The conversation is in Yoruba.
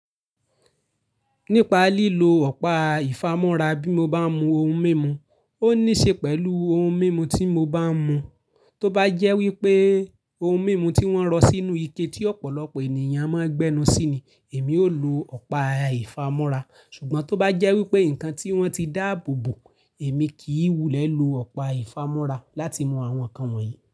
Nípa lílo ọ̀pá ìfámọ́ra bí mo bá ń mu ohun mímu, ó níṣe pẹ̀lú ohun mímu tí mo bá ń mu. Tó bá jẹ́ wípé ohun mímu tí wón rọ sínú ike tí ọ̀pọ̀lọpọ̀ ènìyàn má ń gbẹ́nu sí ni, èmi ó lo ọ̀pá ìfámọ́ra. Ṣùgbọ́n tó bá jẹ́ wípé nǹkan tí wọ́n ti dáàbò bò, èmi kì í wulẹ̀ lo ọ̀pá ìfámọ́ra láti mu àwọn nǹkan wọ̀nyí.